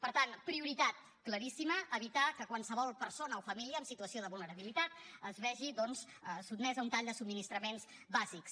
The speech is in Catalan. per tant prioritat claríssima evitar que qualsevol persona o família en situació de vulnerabilitat es vegi doncs sotmesa a un tall de subministraments bàsics